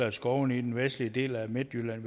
i skovene i den vestlige del af midtjylland